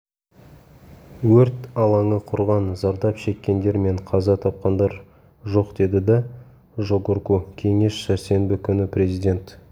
өрт алаңы құраған зардап шеккендер мен қаза тапқандар жоқ деді да жогорку кеңеш сәрсенбі күні президент